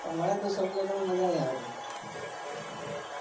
મને તો સમૂહ લગન માં મજા નાઈ આવતી. .